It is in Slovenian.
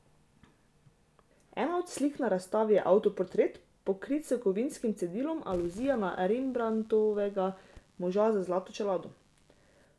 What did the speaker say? Ena od slik na razstavi je avtoportret, pokrit s kovinskim cedilom, aluzija na Rembrandtovega Moža z zlato čelado.